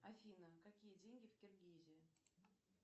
афина какие деньги в киргизии